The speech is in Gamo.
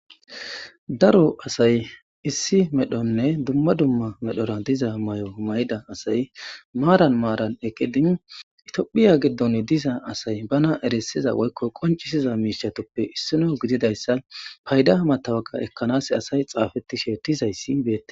daro asay issi medhonne dumma dumma medhora diza mayo mayda asay maaran maaran eqedin itiophiya giddon diza asay bana erisiza woykko qoncisiza miishatoppe issino gididayssa payda matawaka ekkanas asay xaafettishe dizayssi beettes